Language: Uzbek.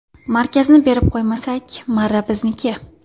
Markazni berib qo‘ymasak, marra bizniki.